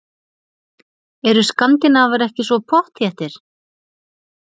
Eru skandinavar ekki svo pottþéttir?